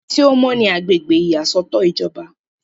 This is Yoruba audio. ibi tí ó mọ́ ni agbègbè ìyàsọ́tọ̀ ìjọba